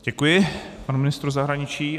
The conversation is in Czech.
Děkuji panu ministru zahraničí.